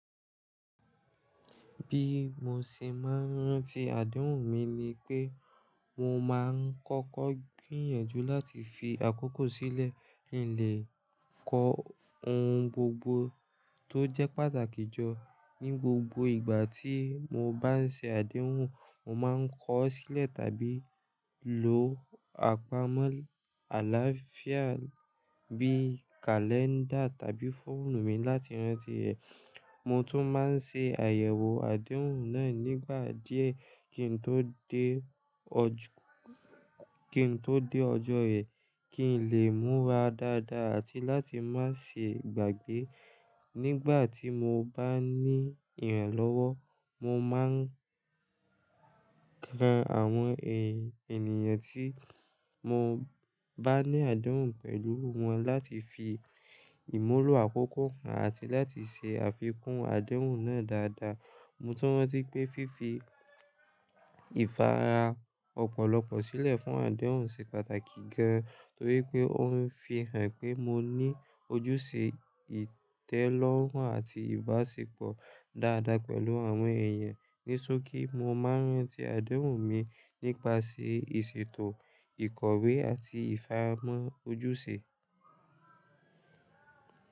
Bí mo ṣe máa ń rántí àdéhùn mi ni pé mo máa ń kọ́kọ́ gbìyànjú láti fi àkókò sílẹ̀ kí n lè kó ohun gbogbo tó jẹ́ pàtàkì jọ. Ni gbogbo ìgbà tí mo bá ń ṣe àdéhùn, mo máa ń kọ ọ́ sílẹ̀ tàbí lo àpamọ́ àlàáfíà bí i kalẹ́ndà tàbí fóònù mi láti rántí rẹ̀. Mo tún máa ń ṣe àyẹ̀wò àdéhùn náà nígbà díẹ̀ kí n tó dé. Kí n tó dé ọjọ́ rẹ̀ kí n lè múra dáadáa àti láti má ṣe gbàgbé. Nígbà tí mo bá ní ìrànlọ́wọ́, mo máa ń yan àwọn ènìyàn tí mo bá ní àdéhùn pẹ̀lú wọn láti fi ìmúlò àkókò kà àti láti ṣe àfikún àdéhùn náà dáadáa. Mo tún rántí pé fífi ìfara ọ̀pọ̀lọpọ̀ sílẹ̀ fún àdéhùn ṣe pàtàkì gan, torí pé ó ń fi hàn pé mo ní ojúṣe ìtẹ́lọ́rùn àti ìbáṣepọ̀ dáadáa pẹ̀lú àwọn èèyàn. Ní sókí, mo máa ń rántí àdéhùn mi nípa ìṣètò ìkọ̀wé àti ìfaramọ́ ojúṣe.